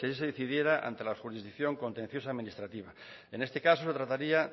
si ahí se decidiera ante la jurisdicción contencioso administrativa en este caso se trataría